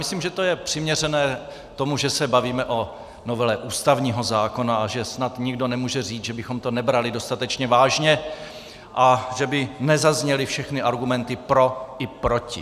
Myslím, že to je přiměřené tomu, že se bavíme o novele ústavního zákona, a že snad nikdo nemůže říct, že bychom to nebrali dostatečně vážně a že by nezazněly všechny argumenty pro i proti.